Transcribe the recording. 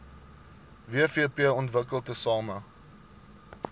wvp ontwikkel tesame